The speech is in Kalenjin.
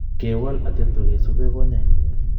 Kewal atepto, kesupe konyai